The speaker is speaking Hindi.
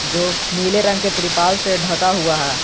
जो नीले रंग के तिरपाल से ढका हुआ है।